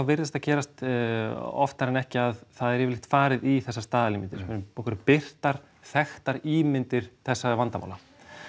virðist það gerast oftar en ekki að það er yfirleitt farið í þessar staðalímyndir okkur birtar þekktar ímyndir þessara vandamála